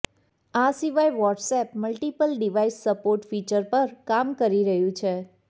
આ સિવાય WhatsApp multiple device support feature પર પણ કામ કરી રહ્યું છે